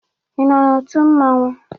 Ị nọ n'otu mmanwụ?